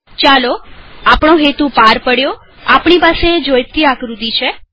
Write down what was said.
ચાલો આપણો હેતુ પાર પડ્યોઆપણી પાસે જોઈતી આકૃતિ છે